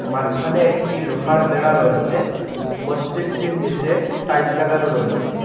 মাঝখানে একটি লোহার বেড়া রয়েসে মসজিদটির নীচে টাইলস লাগানো রয়েসে ।